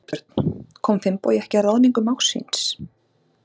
Þorbjörn: Kom Finnbogi ekki að ráðningu mágs síns?